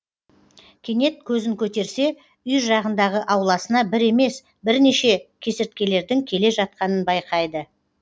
кенет көзін көтерсе үй жағындағы ауласына бір емес бірнеше кесірткелердің келе жатқанын байқайды